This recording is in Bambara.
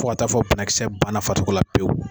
Fo taa fɔ ko banakisɛ banna farikolo la pewu